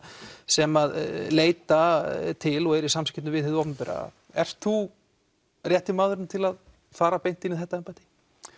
sem leita til og eru í samskiptum við hið opinbera ert þú rétti maðurinn til að fara beint inn í þetta embætti